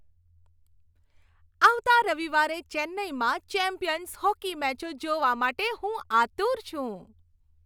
આવતા રવિવારે ચેન્નાઈમાં ચેમ્પિયન્સ હોકી મેચો જોવા માટે હું આતુર છું.